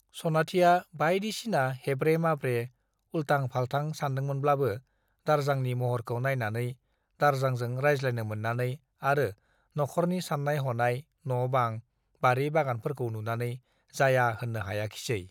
सनाथिया बाइदिसिना हेब्रे - माब्रे , उल्टां - फाल्टां सानदोंमोनब्लाबो दारजांनि महरखौ नाइनानै, दारजांजों रायज्लायनो मोन्नानै आरो न'ख'रनि सान्नाय-हनाय , न' बां , बारि बागानफोरखौ नुनानै जाया होन्नो हायाखिसै ।